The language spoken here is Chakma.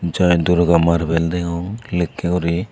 jai durga marble degong likke guri.